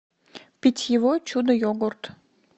питьевой чудо йогурт